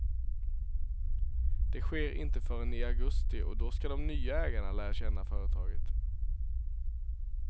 Det sker inte förrän i augusti och då ska de nya ägarna lära känna företaget.